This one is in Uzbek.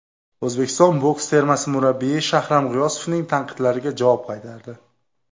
O‘zbekiston boks termasi murabbiyi Shahram G‘iyosovning tanqidlariga javob qaytardi !